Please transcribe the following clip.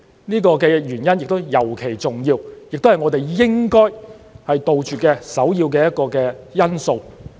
這個原因亦尤其重要，也是我們應該杜絕的一個首要因素。